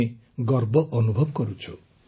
ଆମେ ଗର୍ବ ଅନୁଭବ କରୁଛୁ